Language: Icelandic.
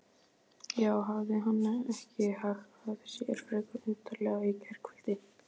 Já, hafði hann ekki hagað sér frekar undarlega í gærkvöld?